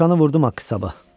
Dovşanı vurdum axı sabah.